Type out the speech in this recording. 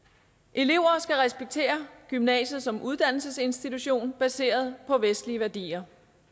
elever skal respektere gymnasiet som en uddannelsesinstitution baseret på vestlige værdier